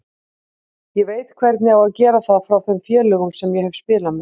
Ég veit hvernig á að gera það frá þeim félögum sem ég hef spilað með.